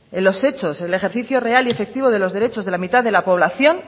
en los hechos el ejercicio real y efectivo de los derechos de la mitad de la población